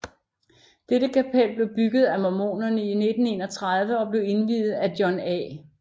Dette kapel blev bygget af mormoner i 1931 og blev indviet af John A